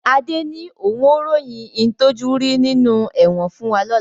Adé ni òun ó ròyìn ń tojú rí nínú ẹ̀wọ̀n fún wa lọ́la